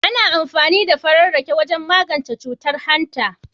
Ana amfani da farar rake wajen magance cutar hanta.